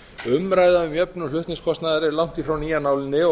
á íslandi er langt í frá ný af nálinni